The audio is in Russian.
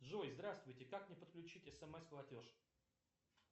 джой здравствуйте как мне подключить смс платеж